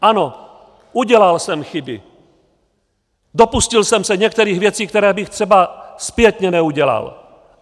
Ano, udělal jsem chyby, dopustil jsem se některých věcí, které bych třeba zpětně neudělal.